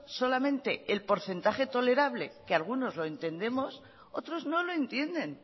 solamente el porcentaje tolerable que algunos lo entendemos otros no lo entienden